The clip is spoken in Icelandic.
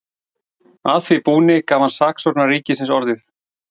Að því búni gaf hann saksóknara ríkisins orðið.